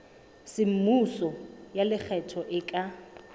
semmuso ya lekgetho e ka